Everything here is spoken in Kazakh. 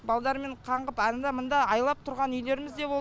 балдармен қаңғып анды мында айлап тұрған үйлеріміз де болды